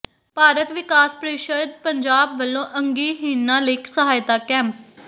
ਭਾਰਤ ਵਿਕਾਸ ਪ੍ਰੀਸ਼ਦ ਪੰਜਾਬ ਵੱਲੋਂ ਅੰਗਹੀਣਾਂ ਲਈ ਸਹਾਇਤਾ ਕੈਂਪ